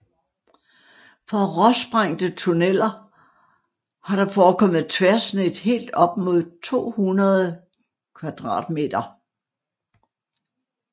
For råsprængte tunneler har der forekommet tværsnit helt op mod 200 m2